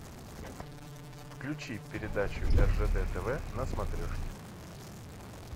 включи передачу ржд тв на смотрешке